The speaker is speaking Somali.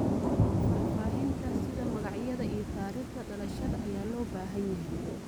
Faahfaahinta sida magacyada iyo taariikhda dhalashada ayaa loo baahan yahay.